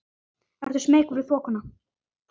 Ert þú smeykur við þokuna?